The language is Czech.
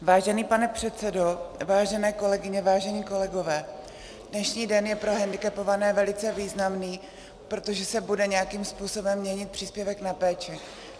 Vážený pane předsedo, vážené kolegyně, vážení kolegové, dnešní den je pro hendikepované velice významný, protože se bude nějakým způsobem měnit příspěvek na péči.